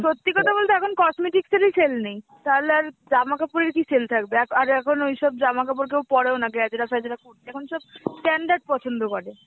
সত্যি কথা বলতে এখন cosmetics এরই sell নেই তাহলে আর জামা কাপড়ের কি sell থাকবে দেখ আর এখন ওইসব জামাকাপড় কেউ পরেও না গ্যাজরা ফেঁজরা পরতে এখন সব standard পছন্দ করে.